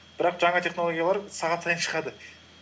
бірақ жаңа технологиялар сағат сайын шығады